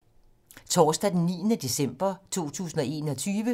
Torsdag d. 9. december 2021